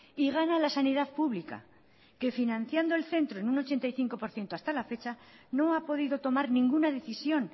y gana la sanidad pública que financiando el centro en un ochenta y cinco por ciento hasta la fecha no ha podido tomar ninguna decisión